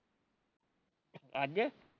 ਅੱਜ